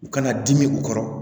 U kana dimi u kɔrɔ